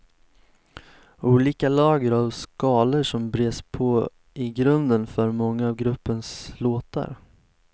Olika lager av skalor som bres på i grunden för många av gruppens låtar.